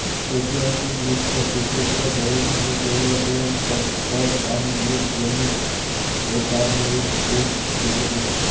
ऐतिहासिकदृष्ट्या क्रिकेटच्या बळींमध्ये केवळ दोन स्टंप्स आणि एक जामीन होता आणि एक गेट दिसत होता